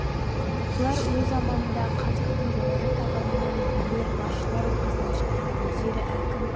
бұлар өз заманындағы қазақтың жоғары табынан билер басшылар ортасынан шыққан өздері әкім